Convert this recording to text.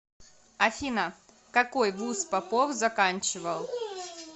афина какой вуз попов заканчивал